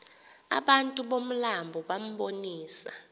abantu bomlambo bambonisa